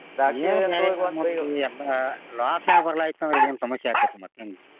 ಎಲ್ಲಾ loss ನ್ಯಾಗ ಬರ್ಲಾ ಅಂದ್ರ ಏನ ಸಮಸ್ಯೆ ಆಕ್ಕೆತ್ರಿ ಮತ್ತೇನ್ರಿ.